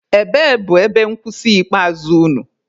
Ebee bụ ebe nkwụsị ikpeazụ unu?